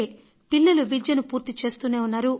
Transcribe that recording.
పిల్లలు విద్యను పూర్తిచేస్తూనే ఉన్నారు